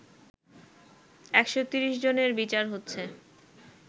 ১৩০ জনের বিচার হচ্ছে